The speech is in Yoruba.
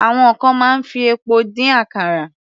Àwọn kan máa ń fi epo dín àkàrà.